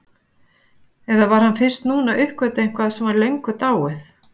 Eða var hann fyrst núna að uppgötva eitthvað sem var löngu dáið?